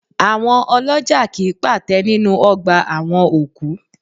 Àwọn ọlọ́jà kì í pàtẹ nínú ọgbà àwọn òkú